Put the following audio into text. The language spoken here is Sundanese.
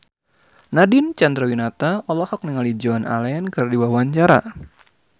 Nadine Chandrawinata olohok ningali Joan Allen keur diwawancara